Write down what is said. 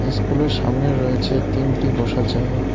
School -এর সামনে রয়েছে তিনটি বসার জায়গা।